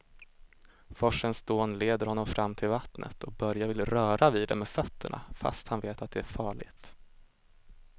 Forsens dån leder honom fram till vattnet och Börje vill röra vid det med fötterna, fast han vet att det är farligt.